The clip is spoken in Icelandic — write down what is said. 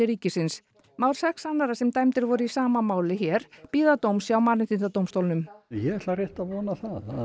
ríkisins mál sex annarra sem dæmdir voru í sama máli hér bíða dóms hjá Mannréttindadómstólnum ég ætla rétt að vona það að